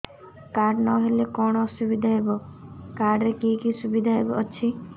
card ନହେଲେ କଣ ଅସୁବିଧା ହେବ କାର୍ଡ ରେ କି କି ସୁବିଧା ଅଛି